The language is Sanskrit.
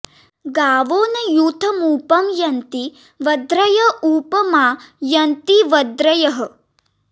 गावो॒ न यू॒थमुप॑ यन्ति॒ वध्र॑य॒ उप॒ मा य॑न्ति॒ वध्र॑यः